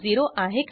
ह्या मेथडवर जाऊ